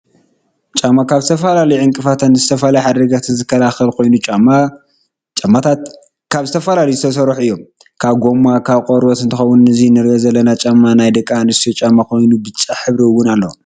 ጫማ ካብ ዝተፈላለዩ ዕንከፍትን ዝተፈላለዩ ሓደጋታትን ዝከላለል ኮይኑ ጫማታት ትማ ካብ ዝተፈላለዩ ዝተሰርሑ እዮም ካብ ጎማን ካብ ቆርበትን እንትከውን እዚ እንሪኦ ዘለና ጫማ ናይ ደቂ ኣንስትዮ ጫማ ኮይኑ ብጫ ሕብሪ እውን ኣለዎ።